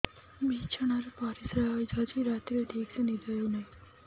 ବିଛଣା ରେ ପରିଶ୍ରା ହେଇ ଯାଉଛି ରାତିରେ ଠିକ ସେ ନିଦ ହେଉନାହିଁ